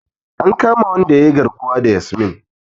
An kama wanda yayi garkuwa da Yasmin.